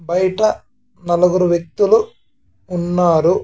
బయట నలుగురు వ్యక్తులు ఉన్నారు.